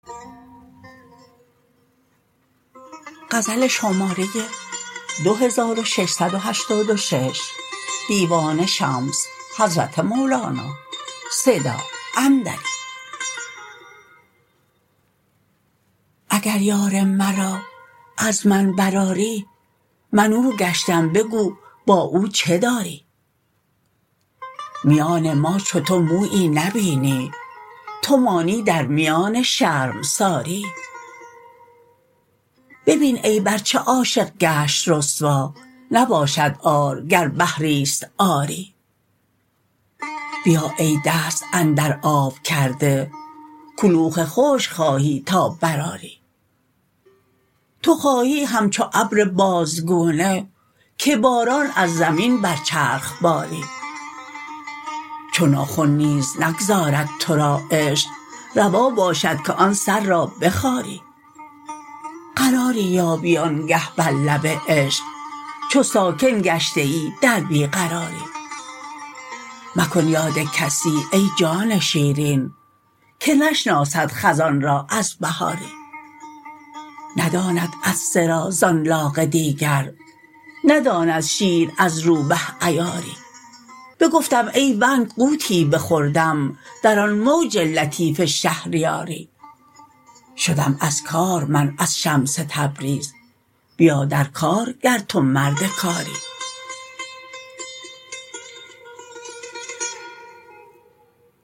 اگر یار مرا از من برآری من او گشتم بگو با او چه داری میان ما چو تو مویی نبینی تو مانی در میان شرمساری ببین عیب ار چه عاشق گشت رسوا نباشد عار گر بحری است عاری بیا ای دست اندر آب کرده کلوخ خشک خواهی تا برآری تو خواهی همچو ابر بازگونه که باران از زمین بر چرخ باری چو ناخن نیز نگذارد تو را عشق روا باشد که آن سر را بخاری قراری یابی آنگه بر لب عشق چو ساکن گشته ای در بی قراری مکن یاد کسی ای جان شیرین که نشناسد خزان را از بهاری نداند عطسه را زان لاغ دیگر نداند شیر از روبه عیاری بگفتم ای ونک غوطی بخوردم در آن موج لطیف شهریاری شدم از کار من از شمس تبریز بیا در کار گر تو مرد کاری